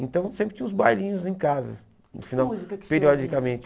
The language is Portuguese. Então, sempre tinha uns bailinhos em casa, no final periodicamente.